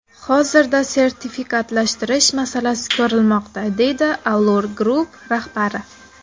Hozirda sertifikatlashtirish masalasi ko‘rilmoqda, deydi Allur Group rahbari.